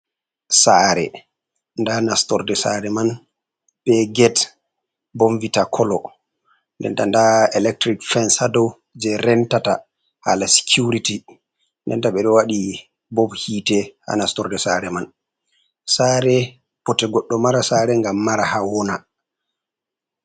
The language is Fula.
Tsare nda nastorde tsare man be get, bon vita kolo renta nda electric fens hado, je rentata hala security, denta ɓeɗo waɗi bob hite ha nastorde tsare man, tsare bote goɗdo mara tsare gam mara ha wona.